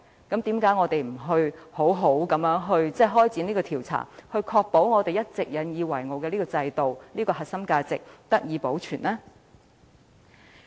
既然如此，為何我們不好好展開調查，以確保我們一直引以自豪的制度、核心價值能得以保存呢？